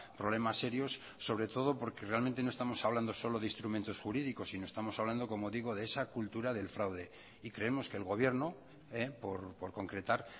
problemas serios sobre todo porque realmente no estamos hablando solo de instrumentos jurídicos sino estamos hablando como digo de esa cultura del fraude y creemos que el gobierno por concretar